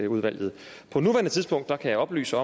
udvalget på nuværende tidspunkt kan jeg oplyse